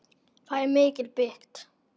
Það er mikið byggt.